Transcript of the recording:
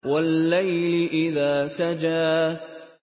وَاللَّيْلِ إِذَا سَجَىٰ